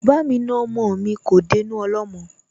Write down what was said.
Bá mi na ọmọ mi, kò dénú ọlọ́mọ